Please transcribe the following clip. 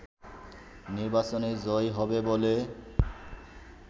নির্বাচনে জয়ী হবে বলে